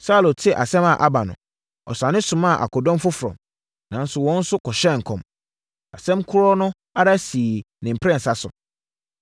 Saulo tee asɛm a aba no, ɔsane somaa akodɔm foforɔ, nanso wɔn nso kɔhyɛɛ nkɔm! Asɛm korɔ no ara sii ne mprɛnsa so.